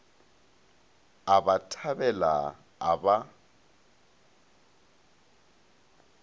a ba thabela a ba